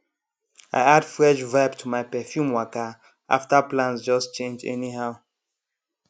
i add fresh vibe to my perfume waka after plans just change anyhow